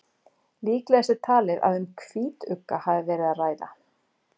líklegast er talið að um hvítugga hafi verið að ræða